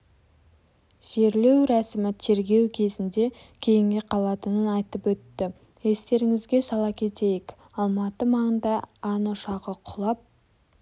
жерлеу рәсімі тергеу кезінде кейінге қалатынын айтып өтті естеріңізге сала кетейік алматы маңында ан ұшағы құлап